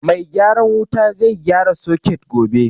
Mai gyaran wuta zai gyara soket gobe